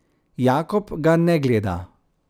Jakob ga ne gleda.